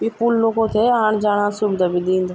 इ पूल लोगों थे आण-जाणा सुविधा भी दिंद।